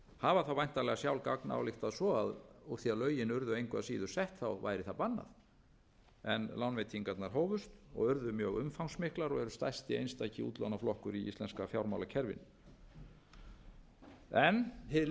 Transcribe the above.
hafa þá væntanlega sjálf gagnályktað svo að úr því að lögin urðu engu að síður sett væri það bannað en lánveitingarnar hófust og urðu mjög umfangsmiklar og er stærsti einstaki útlánaflokkur í íslenska fjármálakerfinu hið liðna er liðið og við